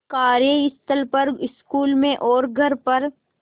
कार्यस्थल पर स्कूल में और घर पर